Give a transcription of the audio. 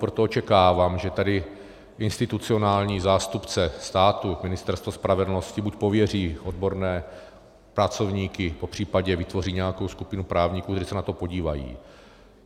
Proto očekávám, že tady institucionální zástupce státu, Ministerstvo spravedlnosti, buď pověří odborné pracovníky, popřípadě vytvoří nějakou skupinu právníků, kteří se na to podívají.